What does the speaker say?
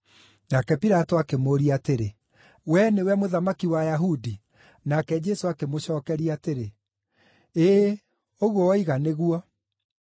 Nake Pilato akĩmũũria atĩrĩ, “Wee nĩwe Mũthamaki wa Ayahudi?” Nake Jesũ akĩmũcookeria atĩrĩ, “Ĩĩ, ũguo woiga nĩguo.”